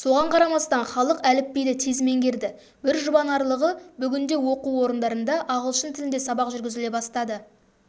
соған қарамастан халық әліпбиді тез меңгерді бір жұбанарлығы бүгінде оқу орындарында ағылшын тілінде сабақ жүргізіле бастады